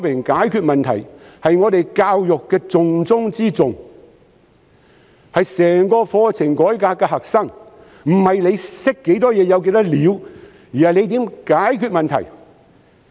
解決問題是我們教育的重中之重，是整個課程改革的核心，不是懂得多少知識，而是怎樣解決問題。